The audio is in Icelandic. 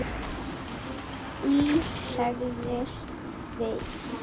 Iss, sagði Sveinn.